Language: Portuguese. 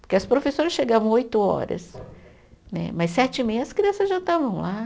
Porque as professoras chegavam oito horas né, mas sete e meia as crianças já estavam lá.